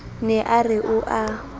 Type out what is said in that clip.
ne a re o a